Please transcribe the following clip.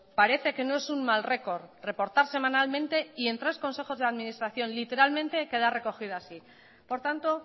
parece que no es un mal récord reportar semanalmente y en tres consejos de administración literalmente queda recogida así por tanto